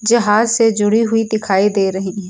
जहाज से जुड़ी हुई दिखाई दे रही हैं।